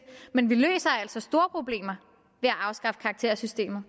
men vi løser altså store problemer ved at afskaffe karaktersystemet